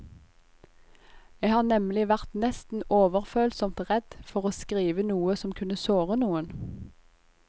Jeg har nemlig vært nesten overfølsomt redd for å skrive noe som kunne såre noen.